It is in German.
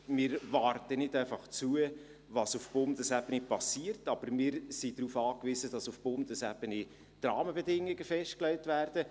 Wir warten nicht einfach zu, was auf Bundesebene passiert, aber wir sind darauf angewiesen, dass auf Bundesebene die Rahmenbedingungen festgelegt werden.